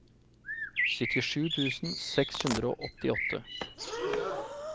syttisju tusen seks hundre og åttiåtte